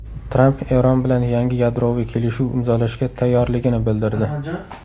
Tramp Eron bilan yangi yadroviy kelishuv imzolashga tayyorligini bildirdi.